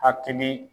Hakili